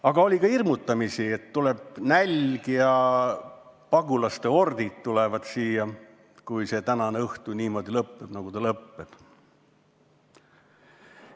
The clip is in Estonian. Aga oli ka hirmutamist, et tuleb nälg ja siia jõuavad pagulaste hordid, juhul kui tänane õhtu lõpeb niimoodi, nagu ta lõpeb.